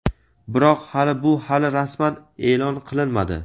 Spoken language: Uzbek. Biroq hali bu hali rasman e’lon qilinmadi.